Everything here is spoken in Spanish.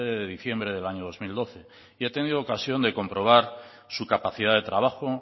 de diciembre del año dos mil doce y ha tenido ocasión de comprobar su capacidad de trabajo